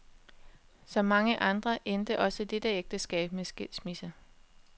Som mange andre endte også dette ægteskab med skilsmisse.